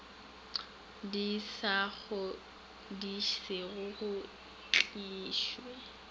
di sa kgodišego go tlišwe